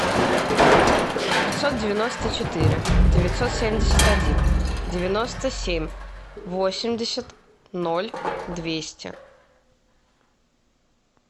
пятьсот девяносто четыре девятьсот семьдесят один девяносто семь восемьдесят ноль двести